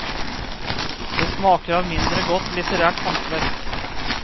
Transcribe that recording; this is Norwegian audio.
Det smaker av mindre godt litterært håndverk.